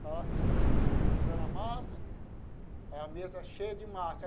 Eu estava cilindrando cilindrando a massa, a mesa cheia de massa.